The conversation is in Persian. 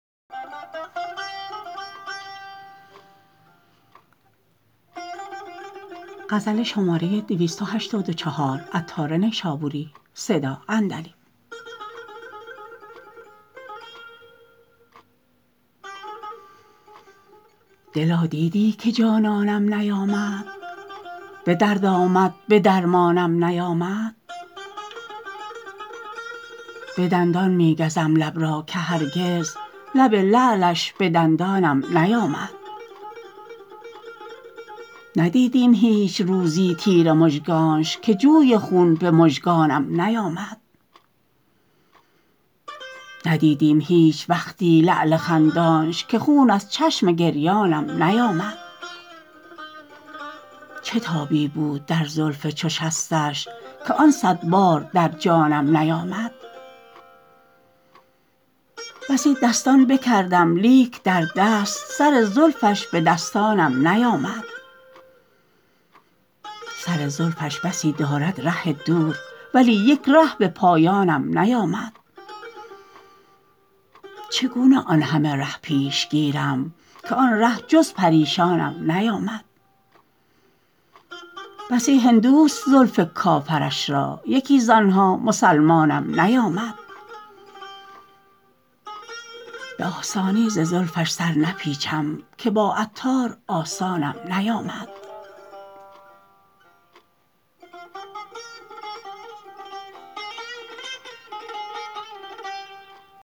دلا دیدی که جانانم نیامد به درد آمد به درمانم نیامد به دندان می گزم لب را که هرگز لب لعلش به دندانم نیامد ندیدیم هیچ روزی تیر مژگانش که جوی خون به مژگانم نیامد ندیدیم هیچ وقتی لعل خندانش که خود از چشم گریانم نیامد چه تابی بود در زلف چو شستش که آن صد بار در جانم نیامد بسی دستان بکردم لیک در دست سر زلفش به دستانم نیامد سر زلفش بسی دارد ره دور ولی یک ره به پایانم نیامد چگونه آن همه ره پیش گیرم که آن ره جز پریشانم نیامد بسی هندوست زلف کافرش را یکی زانها مسلمانم نیامد به آسانی ز زلفش سر نپیچم که با عطار آسانم نیامد